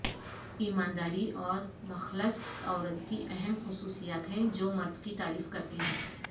ایمانداری اور مخلص عورت کی اہم خصوصیات ہیں جو مرد کی تعریف کرتے ہیں